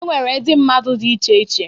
E nwere ndị mmadụ dị iche iche...